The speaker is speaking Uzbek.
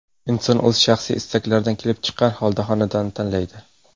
Inson o‘z shaxsiy istaklaridan kelib chiqqan holda xonadon tanlaydi.